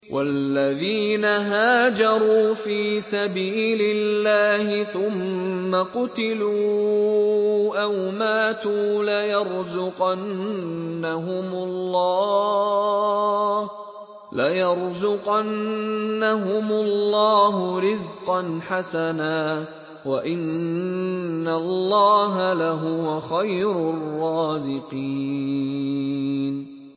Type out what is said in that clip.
وَالَّذِينَ هَاجَرُوا فِي سَبِيلِ اللَّهِ ثُمَّ قُتِلُوا أَوْ مَاتُوا لَيَرْزُقَنَّهُمُ اللَّهُ رِزْقًا حَسَنًا ۚ وَإِنَّ اللَّهَ لَهُوَ خَيْرُ الرَّازِقِينَ